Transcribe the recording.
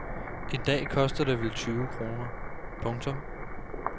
I dag koster det vel tyve kroner. punktum